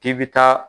K'i bi taa